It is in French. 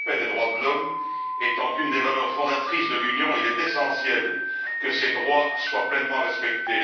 Le respect des droits de l'homme étant une des valeurs fondatrices de l'Union, il est essentiel que ces droits soient pleinement respectés.